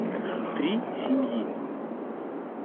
три семьи